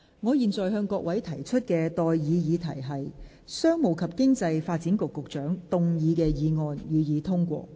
我現在向各位提出的待議議題是：商務及經濟發展局局長動議的議案，予以通過。